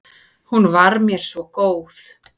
Hún var mér svo góð.